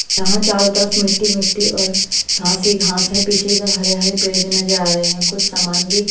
यहाँ चारों तरफ मिट्टी-मिट्टी और घास ही घास है पीछे की तरफ हरे-हरे पेड़ भी नजर आ रहे हैं कुछ सामान भी--